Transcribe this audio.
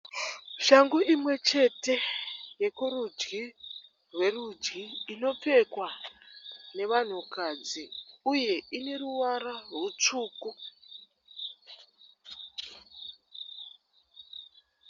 Shangu imwe chete yekurudyi rwerudyi inopfekwa nevanhukadzi uye ine ruvara rutsvuku.